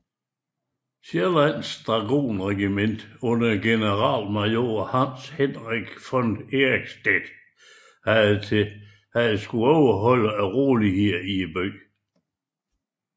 Sjællandske dragonregiment under generalmajor Hans Henrik von Eickstedt havde at overholde roligheden i byen